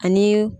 Ani